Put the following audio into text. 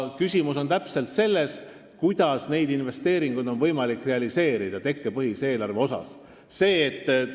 Küsimus on selles, kuidas on võimalik investeeringuid realiseerida tekkepõhise eelarve korral.